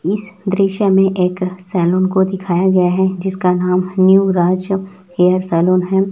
इस दृश्य में एक सैलून को दिखाया गया है किसका नाम जिसका नाम न्यू राज हेयर सैलून है।